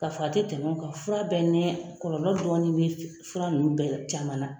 K'a f'a tɛ tɛmɛ nka fura bɛɛ ni kɔlɔlɔ dɔɔni bɛ fura ninnu bɛɛ caman na.